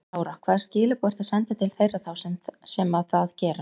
Lára: Hvaða skilaboð ertu að senda til þeirra þá sem að það gera?